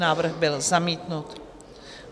Návrh byl zamítnut.